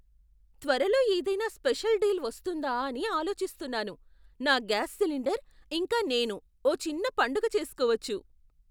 త్వరలో ఏదైనా special deal వస్తుందా అని ఆలోచిస్తున్నాను. నా గ్యాస్ సిలిండర్, ఇంకా నేను ఓ చిన్న పండగ చేసుకోవచ్చు!